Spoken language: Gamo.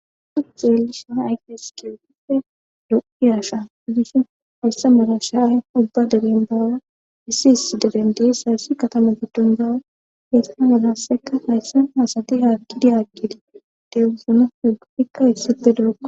Issi dhaqqa zuma dizayssa bessishe dees.